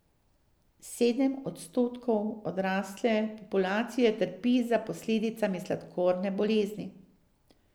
Sedem odstotkov odrasle populacije trpi za posledicami sladkorne bolezni.